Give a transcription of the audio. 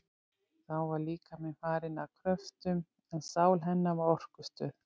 Þá var líkaminn farinn að kröftum, en sál hennar var orkustöð.